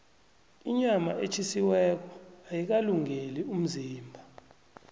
inyama etjhisiweko ayikalungeli umzimba